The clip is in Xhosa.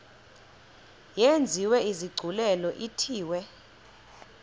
yenziwe isigculelo ithiwe